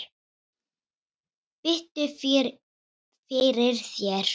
Biddu fyrir þér!